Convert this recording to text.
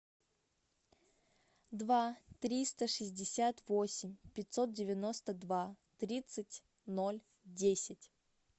два триста шестьдесят восемь пятьсот девяносто два тридцать ноль десять